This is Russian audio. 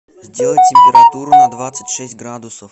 сделай температуру на двадцать шесть градусов